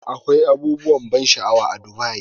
Akwai abubuwan ban sha'awa a Dubai.